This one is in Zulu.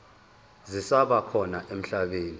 zisaba khona emhlabeni